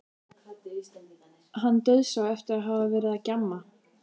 Hann dauðsá eftir að hafa verið að gjamma.